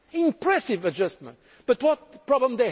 An impressive adjustment, but what is their problem?